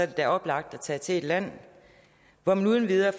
det da oplagt at tage til et land hvor man uden videre